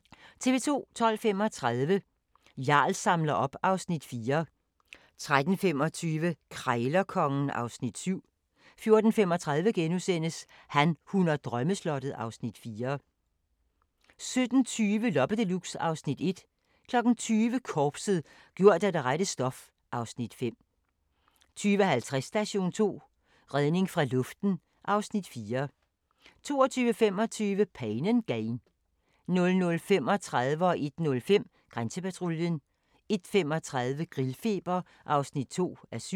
12:35: Jarl samler op (Afs. 4) 13:25: Krejlerkongen (Afs. 7) 14:35: Han, hun og drømmeslottet (Afs. 4)* 17:20: Loppe Deluxe (Afs. 1) 20:00: Korpset - gjort af det rette stof (Afs. 5) 20:50: Station 2: Redning fra luften (Afs. 4) 22:25: Pain & Gain 00:35: Grænsepatruljen 01:05: Grænsepatruljen 01:35: Grillfeber (2:7)